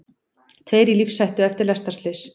Tveir í lífshættu eftir lestarslys